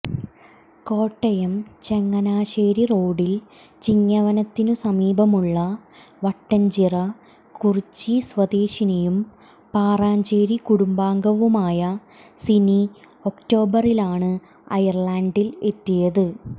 കോട്ടയം ചങ്ങനാശേരി റോഡിൽ ചിങ്ങവനത്തിനു സമീപമുള്ള വട്ടൻച്ചിറ കുറുച്ചി സ്വദേശിനിയും പാറച്ചേരി കുടുംബാംഗവുമായ സിനി ഒക്ടോബറിലാണ് അയർലന്റിൽ എത്തിയത്